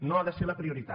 no ha de ser la prioritat